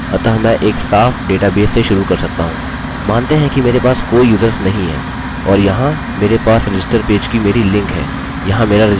मानते हैं कि मेरे पास कोई यूज़र्स नहीं है और यहाँ मेरे पास रजिस्टर पेज की मेरी लिंक है यहाँ मेरा रजिस्टर पेज है